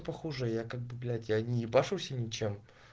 похоже я как бы блять я не боюсь и ничем